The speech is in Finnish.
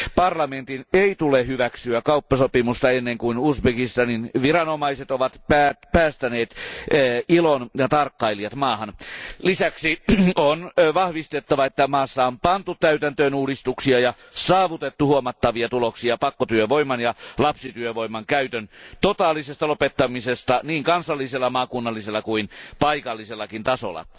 Parlamentin ei tule hyväksyä kauppasopimusta ennen kuin Uzbekistanin viranomaiset ovat päästäneet ILOn tarkkailijat maahan. Lisäksi on vahvistettava, että maassa on pantu täytäntöön uudistuksia ja saavutettu huomattavia tuloksia pakkotyövoiman ja lapsityövoiman käytön totaalisesta lopettamisesta niin kansallisella, maakunnallisella kuin paikallisellakin tasolla.